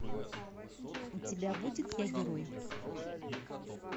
у тебя будет я герой